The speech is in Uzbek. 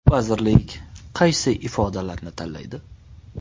Vazirlik kaysi ifodalarni tanlaydi?